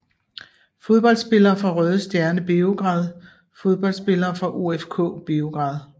Fodboldspillere fra Røde Stjerne Beograd Fodboldspillere fra OFK Beograd